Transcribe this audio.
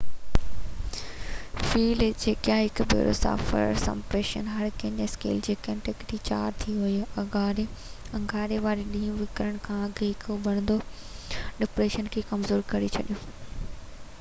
Felicia هڪ ڀيرو Saffir Simpson hurricane scale تي ڪيٽيگري 4 تي هو اڱاري واري ڏينهن وکرڻ کان اڳ هڪ اڀرندڙ ڊپريشن کي ڪمزور ڪري ڇڏيو